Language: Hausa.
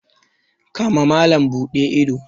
kama malam Bude ido.